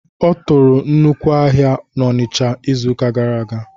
Ọ tụrụ nnukwu ahịa n'Onicha n', ịzụka gara aga